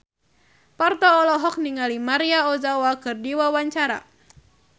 Parto olohok ningali Maria Ozawa keur diwawancara